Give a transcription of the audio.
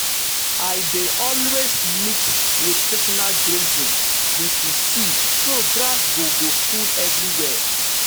i dey always mix rotational grazing with reseed so grass go go full everywhere.